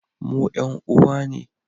Mu 'yan uwa ne